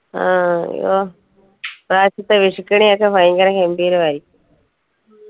ആ ഇപ്രാവശ്യത്തെ വിഷുക്കണിയൊക്കെ ഭയങ്കരം ഗംഭീരമായിരിക്കും